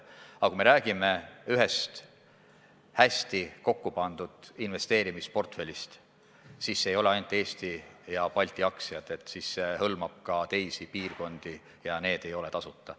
Aga kui me räägime ikkagi hästi kokku pandud investeerimisportfellist, siis see ei sisalda ainult Eesti ja teiste Balti riikide aktsiad, vaid hõlmab ka teisi piirkondi ja need aktsiad ei ole tasuta.